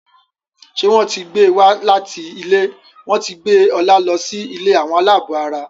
ṣe wón tí gbé wá láti ilé wón tí gbé Ola ló sì ilé Àwọn alabó àrà.